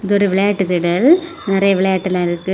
இது ஒரு விளையாட்டு திடல் நறைய விளையாட்டெல்லாம் இருக்கு.